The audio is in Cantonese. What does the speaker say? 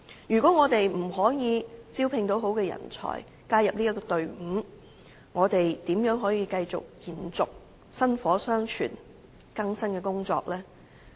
如果我們無法招聘良好人才加入隊伍，又如何繼續延續薪火相傳的更生工作呢？